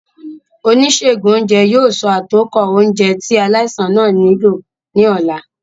Onisegun ounjẹ yoo so atokọ ounjẹ ti alaisan naa nilo ni ọla.